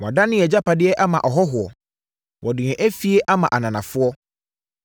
Wɔadane yɛn agyapadeɛ ama ahɔhoɔ, wɔde yɛn afie ama ananafoɔ.